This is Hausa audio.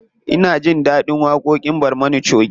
Ina jin ɗaɗin waƙoƙin barmana choge.